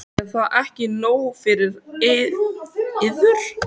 Er það ekki nóg fyrir yður?